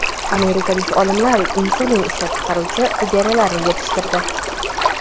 Amerikalik olimlar insulin ishlab chiqaruvchi hujayralarni yetishtirdi.